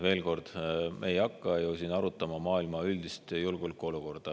Veel kord, me ei hakka ju siin arutama maailma üldist julgeolekuolukorda.